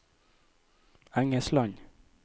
Engesland